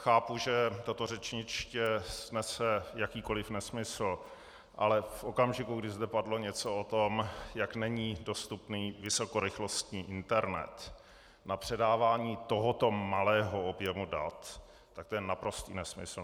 Chápu, že toto řečniště snese jakýkoliv nesmysl, ale v okamžiku, kdy zde padlo něco o tom, jak není dostupný vysokorychlostní internet na předávání tohoto malého objemu dat, tak to je naprostý nesmysl.